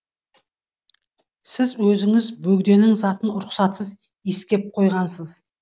сіз өзіңіз бөгденің затын рұқсатсыз иіскеп қойғансыз